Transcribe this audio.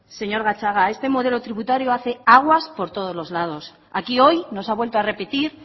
señor gatzaga este modelo tributario hace aguas por todos los lados aquí hoy nos ha vuelto a repetir